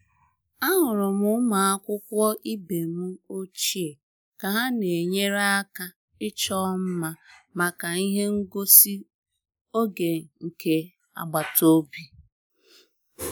Ahụrụ m ụmụ akwụkwọ ibe m ochie ka ha na-enyere aka ịchọ mma maka ihe ngosi oge nke agbataobi